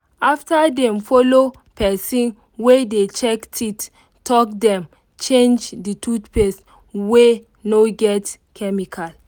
after dem follow pesin wey dey check teeth talk dem change the toothpaste wey no get chemical.